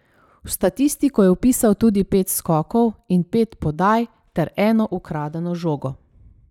V statistiko je vpisal tudi pet skokov in pet podaj ter eno ukradeno žogo.